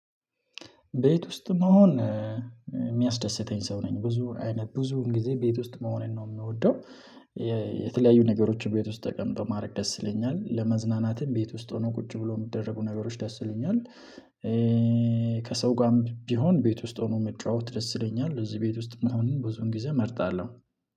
ቤት ውስጥ መሆን የሚያስደስተኝ ሰው ነኝ ብዙ አይነት ብዙ ጊዜ ቤት ውስጥ መሆኔን ነው የምወደው። የተለያዩ ነገሮችን ቤት ውስጥ ተቀምጠው ማድረግ ደስ ይለኛል ለመዝናናትም ቤት ውስጥ ሆኖ ቁጭ ብሎ የሚደረጉ ነገሮች ደስ ይለኛል። ከሰው ጋም ቢሆን ቤት ውስጥ ሆኖ መጫወት ደስ ይለኛል እዚህ ቤት ውስጥም አሁንም ብዙን ጊዜ እመርጣለሁ።